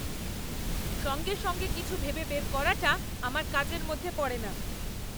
সঙ্গে সঙ্গে কিছু ভেবে বের করাটা আমার কাজের মধ্যে পড়ে না।